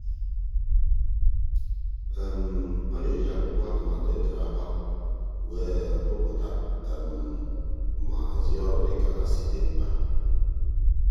ọ na-eji akwụkwọ atụmatụ e tere agba wee hụpụta ma hazie ọrụ dịka ha si dị mkpa.